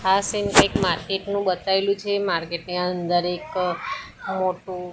આ સીન એક માર્કેટ નુ બેતાઈલુ છે માર્કેટ ની અંદર એક મોટુ--